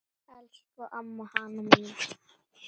Elsku amma Hanna mín.